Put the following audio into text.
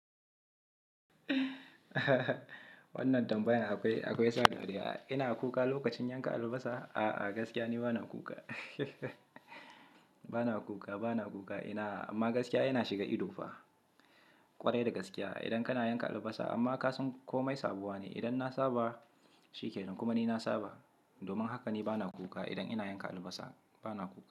Wannan tambaya akwai, akwai sa dariya. Ina kuka lokacin yanka albasa? A'a, gaskiya ni bana kuka. Bana kuka, bana kuka. Ina-- amma gaskiya yana shiga ido fa ƙwarai da gaskiya idan kana yanka albasa. Amma kasan komai sabuwa ne. Idan na saba shikenan kuma ni na saba. Domin haka ni bana kuka idan ina yanka albasa, bana kuka.